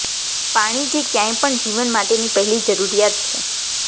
પાણી જે ક્યાંય પણ જીવન માટેની પહેલી જરૂરિયાત છે